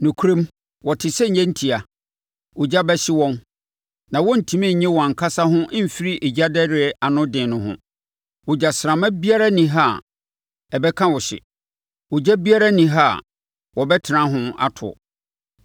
Nokorɛm, wɔte sɛ nnyentia; ogya bɛhye wɔn. Na wɔntumi nnye wɔn ankasa ho mfiri egyadɛreɛ ano den no ho. Ogyasramma biara nni ha a ɛbɛka wo hye; ogya biara nni ha a wɔbɛtena ho ato.